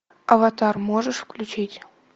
аватар можешь включить